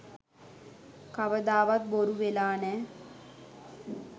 කවදාවත් බොරු වෙලා නෑ